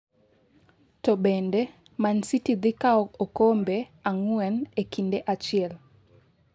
To bende Man City dhi kawo okombe ang'wen e kinde achiel